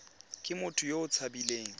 ke motho yo o tshabileng